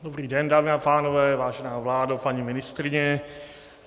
Dobrý den, dámy a pánové, vážená vládo, paní ministryně.